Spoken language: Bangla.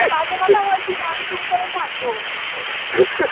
আমি বাজে কথা বলছি না. আমি চুপ করেই থাকবো